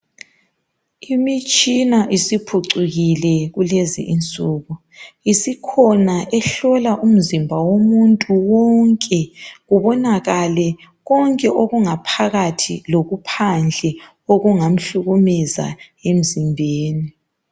imitshina isiphicukile kulezi insuku isikhona ehlola umzimba womuntu wonke kubonakale konke okungaphakathi lokuphandle okungamhlukumeza emzimbeni